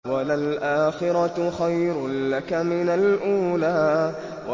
وَلَلْآخِرَةُ خَيْرٌ لَّكَ مِنَ الْأُولَىٰ